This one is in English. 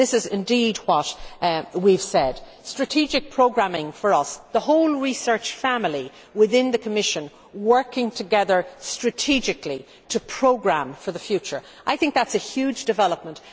This is indeed what we have said strategic programming for us means the whole research family within the Commission working together strategically to programme for the future. I think that is a huge development.